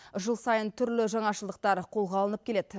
жыл сайын түрлі жаңашылдықтар қолға алынып келеді